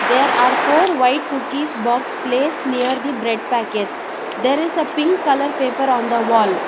there are four white cookies box place near the bread packet there is a pink colour paper on the wall.